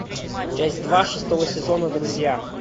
часть два шестого сезона друзья